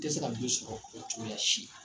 I tɛ se ka jo sɔrɔ cogoya si.